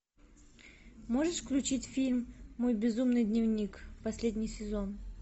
можешь включить фильм мой безумный дневник последний сезон